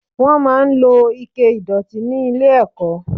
Wọ́n máa ń lo Ike ìdọ̀tí ní ilé ẹ̀kọ́